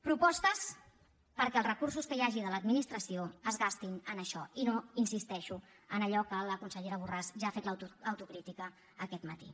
propostes perquè els recursos que hi hagi de l’administració es gastin en això i no hi insisteixo en allò que la consellera borràs ja ha fet autocrítica aquest matí